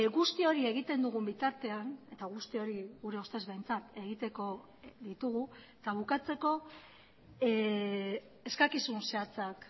guzti hori egiten dugun bitartean eta guzti hori gure ustez behintzat egiteko ditugu eta bukatzeko eskakizun zehatzak